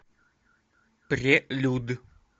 прелюд